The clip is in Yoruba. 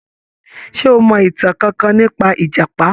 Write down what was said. Ṣé o mọ ìtàn kankan nípa ìjàpá?